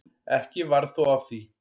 Ekki varð þó af því.